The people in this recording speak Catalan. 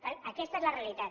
per tant aquesta és la realitat